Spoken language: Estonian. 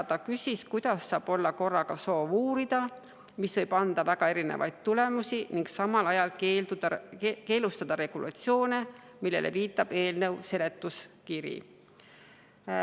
Ta küsis, kuidas saab olla korraga soov uurida, võib anda väga erinevaid tulemusi, ning samal ajal teha keelustavaid regulatsioone, millele viitab eelnõu seletuskiri.